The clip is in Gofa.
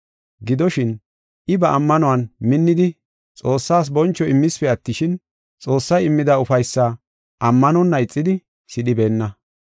Gidoshin, I ba ammanuwan minnidi Xoossaas boncho immispe attishin, Xoossay immida ufaysaa ammanonna ixidi, sidhibeenna.